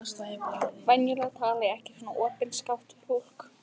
Venjulega tala ég ekki svo opinskátt við fólk.